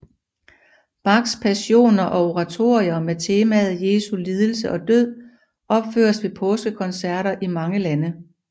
Bachs passioner og oratorier med temaet Jesu lidelse og død opføres ved påskekoncerter i mange lande